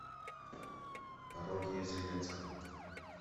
пародия зеленского